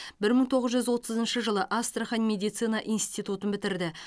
бір мың тоғыз жүз отызыншы жылы астрахан медицина институтын бітірді